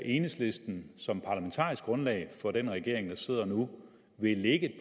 enhedslisten som parlamentarisk grundlag for den regering der sidder nu vil lægge